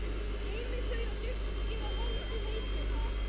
Geymið þau á diski og haldið heitum.